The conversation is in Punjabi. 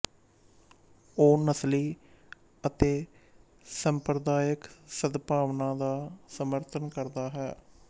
ਉਹ ਨਸਲੀ ਅਤੇ ਸੰਪਰਦਾਇਕ ਸਦਭਾਵਨਾ ਦਾ ਸਮਰਥਨ ਕਰਦਾ ਹੈ